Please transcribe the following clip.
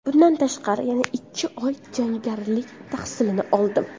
Bundan tashqari, yana ikki oy jangarilik tahsilini oldim.